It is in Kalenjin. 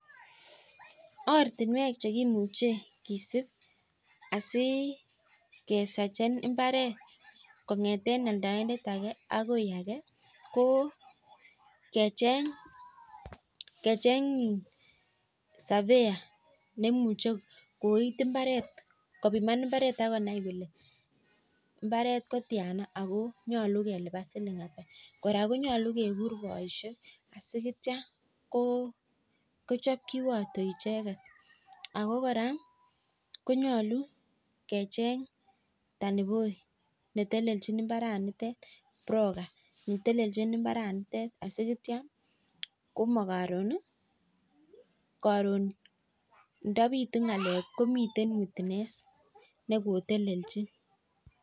Ortinwek che kimuchei kesip asi keserchen mbaret kong'eten aldoindet age akoi age, ko kecheny serveyor neimuchei kopiman mbaret ak konai kole mbaret ko tiana ako nyolu kelipan siling ata. Kora konyolu kegur poishek asineitio kochop kiwato icheket. Ako kora konyolu kecheny taniboi, netelechin mbaranitet broker netelelchin mbaranitet asinetio karon ndapitu ng'ala komitei witness ne ko telelchin.